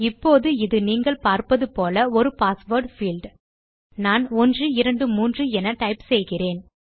இப்போது இது நீங்கள் பார்ப்பது போல ஒரு பாஸ்வேர்ட் பீல்ட் நான் 123 என டைப் செய்கிறேன்